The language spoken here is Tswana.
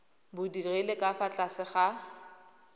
bodirelo ka fa tlase ga